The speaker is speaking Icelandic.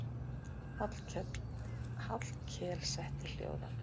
Hallkel setti hljóðan.